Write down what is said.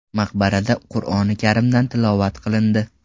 Maqbarada Qur’oni karimdan tilovat qilindi.